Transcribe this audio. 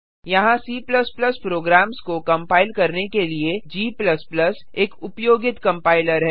यहाँ C programs को compile करने के लिए g एक उपयोगित कंपाइलर है